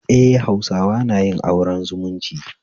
Eh, Hausawa na yin aure zumunci